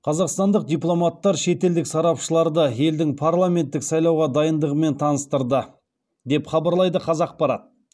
қазақстандық дипломаттар шетелдік сарапшыларды елдің парламенттік сайлауға дайындығымен таныстырды деп хабарлайды қазақпарат